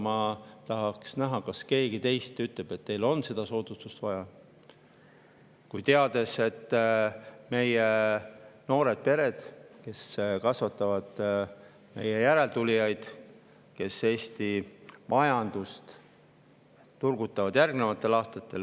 Ma tahaks näha, kas keegi teist ütleb, et teil on seda soodustust vaja, teades, et noored pered, kes kasvatavad järeltulijaid, kes Eesti majandust turgutavad …